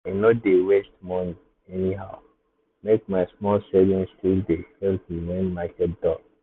i no dey waste money anyhow make my small savings still dey help me when market dull.